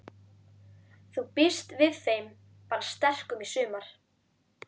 Þú býst við þeim bara sterkum í sumar?